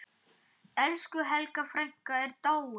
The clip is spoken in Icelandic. Elsku Helga frænka er dáin.